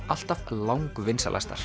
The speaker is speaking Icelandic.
alltaf